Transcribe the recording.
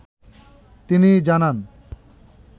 তিনি জানান ।